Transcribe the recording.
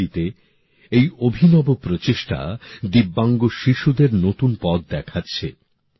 বরেলিতে এই অভিনব প্রচেষ্টা ভিন্নভাবে সক্ষম শিশুদের নতুন পথ দেখাচ্ছে